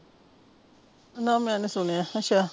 ਨਾ ਮੈਂ ਨੀ ਸੁਣਿਆ ਅੱਛਾ